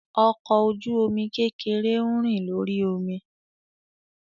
Ọkọ oju-omi kekere ń rin lori omi.